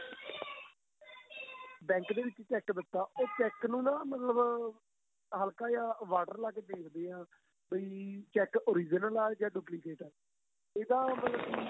bank ਦੇ ਵਿੱਚ cheque ਦਿੱਤਾ ਉਹ cheque ਨੂੰ ਨਾ ਮਤਲਬ ਹੱਲਕਾ ਜਾਂ water ਲਾਕੇ ਦੇਖਦੇ ਏ ਵੀ cheque original ਆਂ ਜਾਂ duplicate ਆਂ ਇਹਦਾ ਮਤਲਬ